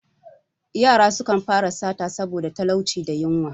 Yara sukan fara sata saboda talauci da yunwa.